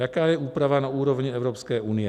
Jaká je úprava na úrovni Evropské unie?